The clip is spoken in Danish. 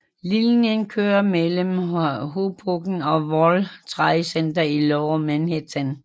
Linjen kører mellem Hoboken og World Trade Center i Lower Manhattan